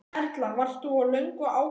Erla: Varst þú löngu ákveðinn?